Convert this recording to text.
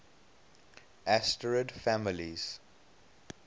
asterid families